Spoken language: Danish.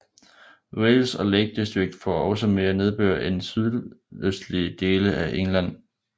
Wales og Lake District får også mere nedbør end sydøstlige dele af England